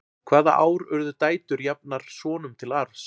hvaða ár urðu dætur jafnar sonum til arfs